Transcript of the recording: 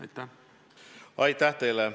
Aitäh teile!